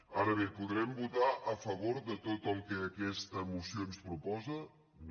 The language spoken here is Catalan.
ara bé podrem votar a favor de tot el que aquesta moció ens proposa no